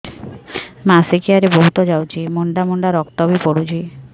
ମାସିକିଆ ରେ ବହୁତ ଯାଉଛି ମୁଣ୍ଡା ମୁଣ୍ଡା ରକ୍ତ ବି ପଡୁଛି